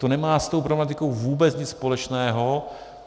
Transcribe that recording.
To nemá s tou problematikou vůbec nic společného.